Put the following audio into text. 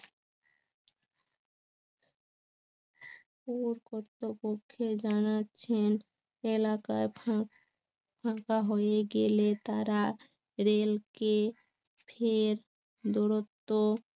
করতে পক্ষে জানাচ্ছেন এলাকায় ফাঁকা হয়ে গেলে তারা রেলকে ফের দূরত্ব